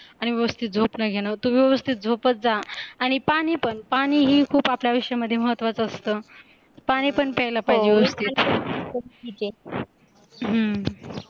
आणी व्यवस्थित झोप नाही घेणार तू व्यवस्थित झोपत जा आणि पाणी पण पाणीही खूप आपल्या आयुष्यामध्ये महत्त्वाचं असतं, पाणी पण पयायेला पाहीजे